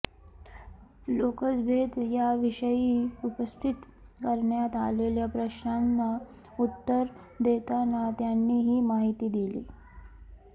लोकसभेत या विषयी उपस्थित करण्यात आलेल्या प्रश्नांना उत्तर देताना त्यांनी ही माहिती दिली